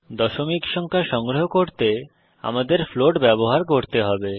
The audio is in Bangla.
দশমিক সংখ্যা সংগ্রহ করতে আমাদের ফ্লোট ব্যবহার করতে হবে